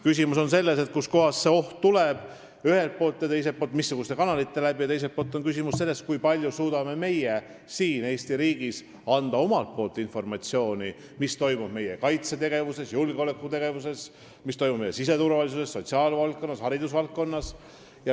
Küsimus on ühelt poolt selles, kust kohast see oht tuleb, missuguste kanalite kaudu, ja teiselt poolt ka selles, kui palju meie ise suudame Eesti riigis anda informatsiooni selle kohta, mis toimub meie kaitsetegevuses, julgeolekutegevuses, siseturvalisuses, sotsiaalvaldkonnas, haridusvaldkonnas.